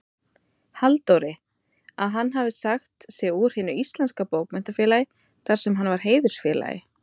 Halldóri, að hann hefði sagt sig úr Hinu íslenska bókmenntafélagi, þarsem hann var heiðursfélagi.